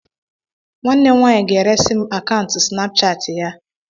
Nwanne m nwanyi ga-eresị m akaụntụ Snapshaatị ya.